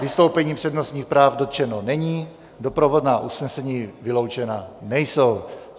Vystoupení přednostních práv dotčeno není, doprovodná usnesení vyloučena nejsou.